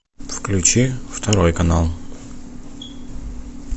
включи второй канал